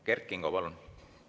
Kert Kingo, palun!